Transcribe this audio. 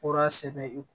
Fura sɛbɛn i kun